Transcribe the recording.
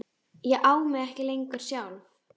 Ég á mig ekki lengur sjálf.